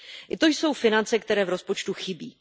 I to jsou finance, které v rozpočtu chybí.